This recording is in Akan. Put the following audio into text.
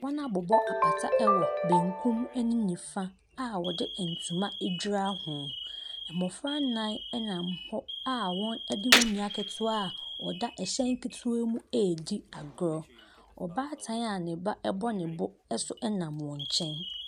Wɔabobɔ apata wɔ benkum ne nifa a wɔde ntoma adura ho. Mmɔfra nnan nam hɔ a wɔde wɔn nua ketewa a ɔda hyɛn ketewa mu redi agorɔ. Ɔbaatan a ne ba bɔ ne bo nso nam wɔn nkyɛn.